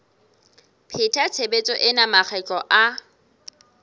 pheta tshebetso ena makgetlo a